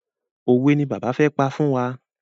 Òwe ni bàbá fẹ́ pa fún wa.